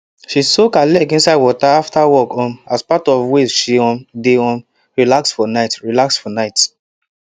she soak her leg inside water after work um as part of way she um dey um relax for night relax for night